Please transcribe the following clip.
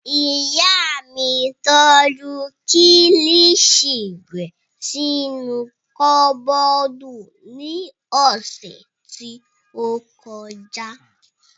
Ìyá mi tọ́jú kilishi rẹ̀ sínú kọ́bọ̀dù ní ọ̀sẹ̀ tí ó kọjá